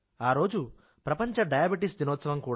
ఆ రోజు ప్రపంచ డయాబెటిస్ దినోత్సవం